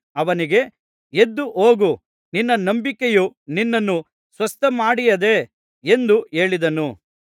ಅವನಿಗೆ ಎದ್ದು ಹೋಗು ನಿನ್ನ ನಂಬಿಕೆಯು ನಿನ್ನನ್ನು ಸ್ವಸ್ಥಮಾಡಿಯದೆ ಎಂದು ಹೇಳಿದನು